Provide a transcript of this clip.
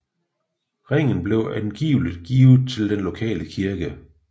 Ringen blev angiveligt givet til den lokale kirke